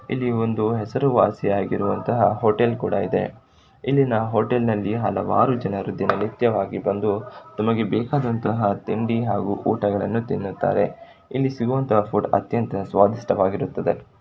ಇಲ್ಲಿ ಒಂದು ಹೆಸರುವಾಸಿ ಆಗಿರುವಂತಹ ಹೋಟೆಲ್ ಕೂಡ ಇದೆ ಇಲ್ಲಿ ನಾವು ಹೋಟೆಲ್ ನಲ್ಲಿ ಹಲವಾರು ಜನರು ದಿನನಿತ್ಯ ವಾಗಿ ಬಂದು ತಮಗೆ ಬೇಕಾದಂತಹ ತಿಂಡಿ ಹಾಗೂ ಊಟಗಳನ್ನು ತಿನ್ನುತ್ತಾರೆ ಎಲ್ಲಿ ಸಿಗುವಂತ ಫುಡ್ ಅತ್ಯಂತ ಸ್ವಾದಿಷ್ಟ ಕರವಾಗಿರುತ್ತದೆ.